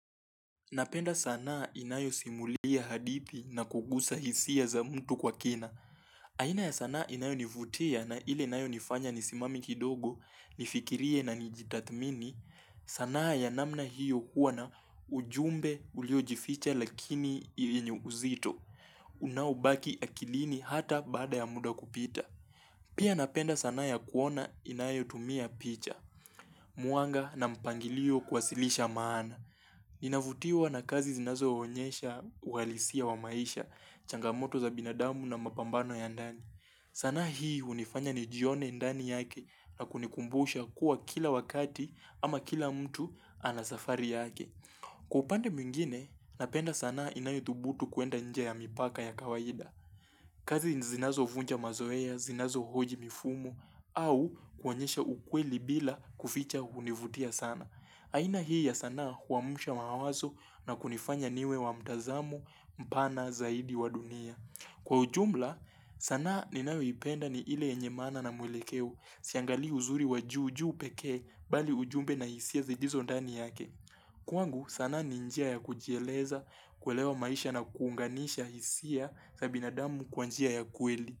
Napenda sanaa inayosimulia hadithi na kugusa hisia za mtu kwa kina. Aina ya sanaa inayonivutia na ile inayonifanya nisimame kidogo, nifikirie na nijitathmini. Sanaa ya namna hiyo huwa na ujumbe uliojificha lakini ili yenye uzito. Unaobaki akilini hata baada ya muda kupita. Pia napenda sanaa ya kuona inayotumia picha, mwanga na mpangilio kuwasilisha maana. Ninavutiwa na kazi zinazoonyesha uhalisia wa maisha, changamoto za binadamu na mapambano ya ndani. Sanaa hii hunifanya nijione ndani yake na kunikumbusha kuwa kila wakati ama kila mtu ana safari yake. Kwa upande mwingine, napenda sanaa inayodhubutu kuenda nje ya mipaka ya kawaida. Kazi zinazovunja mazoea, zinazohoji mifumo au kuonyesha ukweli bila kuficha hunivutia sana. Aina hii ya sanaa huamsha mawazo na kunifanya niwe wa mtazamo mpana zaidi wa dunia. Kwa ujumla, sanaa ninayoipenda ni ile yenye maana na mwelekeo siangalii uzuri wa juu juu pekee bali ujumbe na hisia zilizo ndani yake. Kwangu sana ni njia ya kujieleza, kuelewa maisha na kuunganisha hisia za binadamu kwa njia ya kweli.